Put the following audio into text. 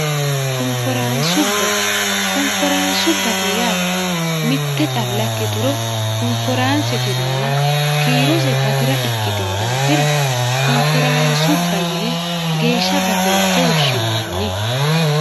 konforaansubba konforaansubbate yaa mitte calla ikkituro konforaansete yinaana kiirose batira ikkitino daafira konforaansubba yine geeshssha batinse woshshinoonni